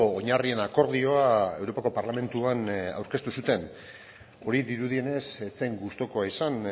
oinarrien akordioa europako parlamentuan aurkeztu zuten hori dirudienez ez zen gustukoa izan